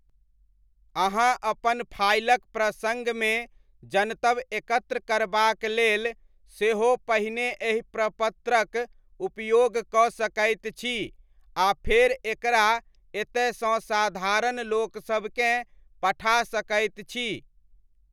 अहाँ अपन फाइलक प्रसङ्गमे जनतब एकत्र करबाक लेल सेहो पहिने एहि प्रपत्रक उपयोग कऽ सकैत छी आ फेर एकरा एतयसँ साधारण लोकसबकेँ पठा सकैत छी।